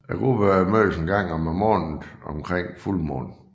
Gruppen mødtes en gang om måneden omkring fuldmåne